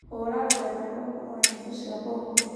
hura rurenda rwakwa rwa nyimbo cia bongo